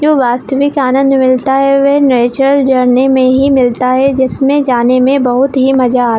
ये वास्तिविक आनंद मिलता है वह नेचुरल जर्नी में ही मिलता है जिसमे जाने में बहोत ही मजा आता --